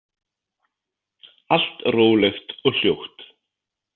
Allt rólegt og hljótt.